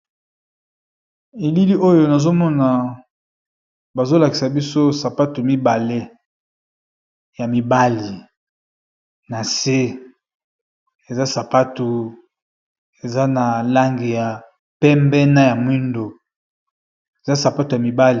Elili oyo nazomona bazolakisa biso sapatu mibale ya mibali na se eza sapatu eza na langi ya pembe na ya mwindoeaspatu be.